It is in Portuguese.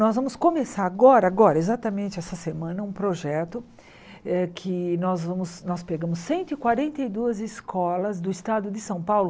Nós vamos começar agora, agora exatamente essa semana, um projeto eh que nós vamos nós pegamos cento e quarenta e duas escolas do estado de São Paulo.